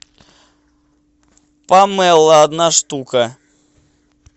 памело одна штука